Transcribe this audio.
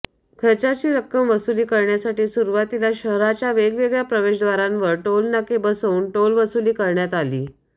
खर्चाची रक्कम वसुली करण्यासाठी सुरवातीला शहारच्या वेगवेगळ्या प्रवेशद्वारांवर टोलनाके बसवुन टोलवसुली करण्यात आली